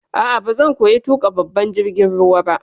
A'a, bazan koya tuƙa babban jirgin ruwa ba.